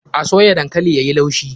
A soya dankalin yayi laushi.